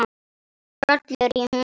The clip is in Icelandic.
Hrollur í honum.